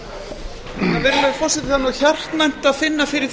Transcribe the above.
það er nú hjartnæmt að finna fyrir